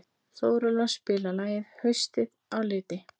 Þórelfa, spilaðu lagið „Haustið á liti“.